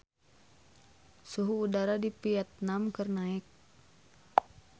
Suhu udara di Vietman keur naek